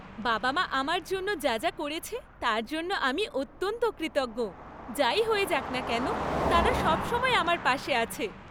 বাবা মা আমার জন্য যা যা করেছে তার জন্য আমি অত্যন্ত কৃতজ্ঞ। যাই হয়ে যাক না কেন, তারা সবসময় আমার পাশে আছে।